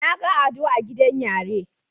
Naga ado a gidan yare